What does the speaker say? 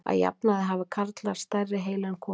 Að jafnaði hafa karlar stærri heila en konur.